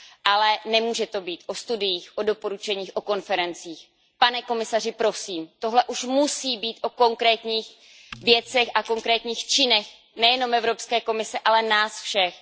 Ale nemůže to být o studiích, o doporučeních, o konferencích, pane komisaři, prosím, tohle už musí být o konkrétních věcech a konkrétních činech, nejenom Evropské komise, ale nás všech.